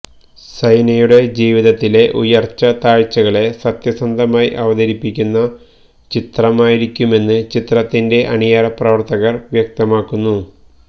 സൈനയുടെ ജീവിതത്തിലെ ഉയര്ച്ച താഴ്ച്ചകളെ സത്യസന്ധമായി അവതരിപ്പിക്കുന്ന ചിത്രമായിരിക്കുമെന്ന് ചിത്രത്തിന്റെ അണിയറ പ്രവര്ത്തകര് വ്യക്തമാക്കുന്നു